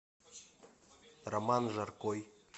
роман жаркой